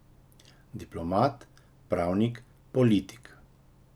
Diplomat, pravnik, politik.